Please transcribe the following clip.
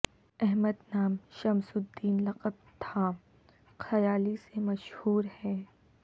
احمد نام شمس الدین لقب تھا خیالی سے مشہور ہیں